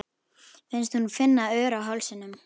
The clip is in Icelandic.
Finnst hún finna ör á hálsinum.